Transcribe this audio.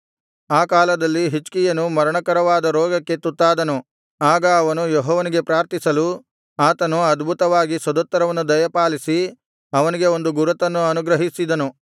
ಆ ಕಾಲದಲ್ಲಿ ಹಿಜ್ಕೀಯನು ಮರಣಕರವಾದ ರೋಗಕ್ಕೆ ತುತ್ತಾದನು ಆಗ ಅವನು ಯೆಹೋವನಿಗೆ ಪ್ರಾರ್ಥಿಸಲು ಆತನು ಅದ್ಭುತವಾಗಿ ಸದುತ್ತರವನ್ನು ದಯಪಾಲಿಸಿ ಅವನಿಗೆ ಒಂದು ಗುರುತನ್ನು ಅನುಗ್ರಹಿಸಿದನು